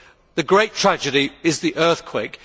The great tragedy is the earthquake.